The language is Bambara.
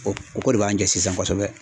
O o ko de b'an jɛ sisan kosɛbɛ.